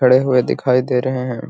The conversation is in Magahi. खड़े हुए दिखाई दे रहे हैं |